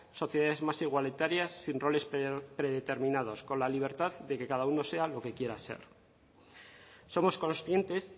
sociedades más igualitarias sin roles predeterminados con la libertad de que cada uno sea lo que quiera ser somos conscientes